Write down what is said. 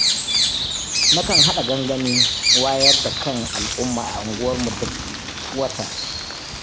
Na kan haɗa gangamin wayar da kan al'umma a unguwarmu duk wata